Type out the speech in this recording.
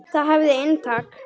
Það hafði inntak.